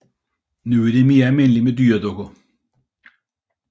Nu er det mere almindeligt med dyredukker